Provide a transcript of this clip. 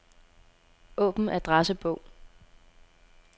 Åbn adressebog.